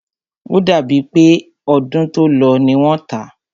O dàbí è pé ọdún tó lọ ní wọ́n tá.